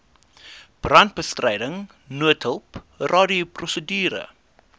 brandbestryding noodhulp radioprosedure